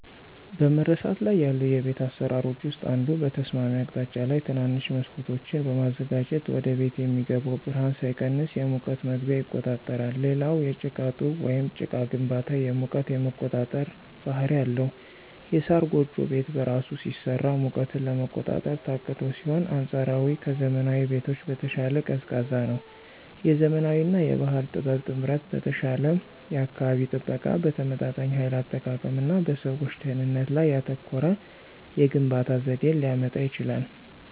በመረሳት ላይ ያሉ የቤት አሰራሮች ውስጥ አንዱ በተስማሚ አቅጣጫ ላይ ትናንሽ መስኮቶችን በማዘጋጀት ወደቤት የሚገባው ብርሃን ሳይቀንስ የሙቀት መግቢያ ይቆጣጠራል። ሌላው የጭቃ ጡብ ወይም ጭቃ ግንባታ የሙቀት የመቆጣጠር ባህሪ አለው። የሳር ጎጆ ቤት በራሱ ሲሰራ ሙቀትን ለመቆጣጠር ታቅዶ ሲሆን አንፃራዊ ከዘመናዊ ቤቶች በተሻለ ቀዝቃዛ ነው። የዘመናዊ እና የባህል ጥበብ ጥምረት በተሻለ የአካባቢ ጥበቃ፣ በተመጣጣኝ ኃይል አጠቃቀም እና በሰዎች ደህንነት ላይ ያተኮረ የግንባታ ዘዴን ሊያመጣ ይችላል።